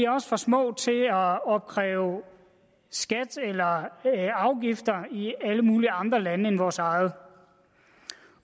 også for små til at opkræve skatter eller afgifter i alle mulige andre lande end vores eget